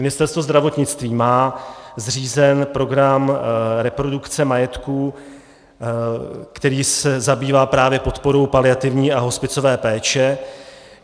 Ministerstvo zdravotnictví má zřízen program reprodukce majetku, který se zabývá právě podporou paliativní a hospicové péče.